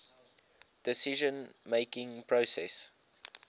decision making process